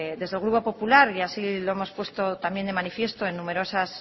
desde el grupo popular y así lo hemos puesto también de manifiesto en numerosas